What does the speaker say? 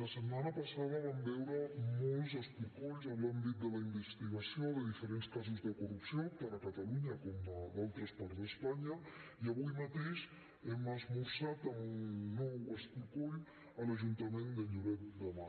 la setmana passada vam veure molts escorcolls en l’àmbit de la investigació de diferents casos de corrupció tant a catalunya com a d’altres parts d’espanya i avui mateix hem esmorzat amb un nou escorcoll a l’ajuntament de lloret de mar